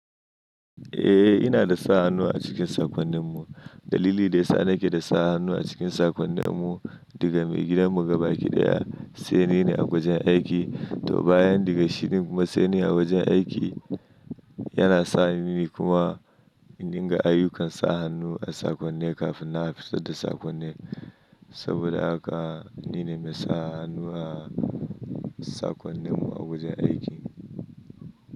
Eh, ina da sa hannu a cikin saƙonnin mu. Dalili da ya sa na ke da sa hannu a cikin saƙonnin mu daga mai gidan mu gaba ɗaya sai ni ne a wajen aiki. To bayan daga shi kuma sai ni a wajen aiki, yana sa ni kuma in riƙa ayyukan sa hannu a sakonnin kafin na fito da saƙonnin. Saboda haka ni ne mai sa hannu a sakonnin mu a wajen aiki.